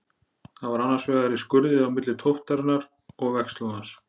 Það var annars vegar í skurði á milli tóftarinnar og vegslóðans.